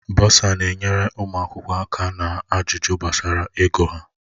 Bọsa na-enyere ụmụ akwụkwọ aka na ajụjụ gbasara ego ha.